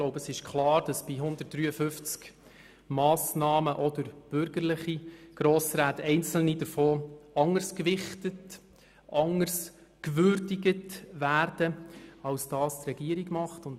Ich glaube, es ist klar, dass bei 153 Massnahmen auch durch bürgerliche Grossräte einzelne davon anders gewichtet und gewürdigt werden, als es die Regierung tut.